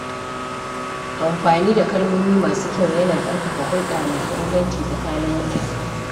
Amfani da kalmomi masu kyau yana ƙarfafa hulɗa mai inganci tsakanin mutane.